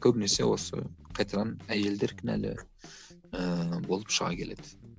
көбінесе осы қайтадан әйелдер кінәлі ііі болып шыға келеді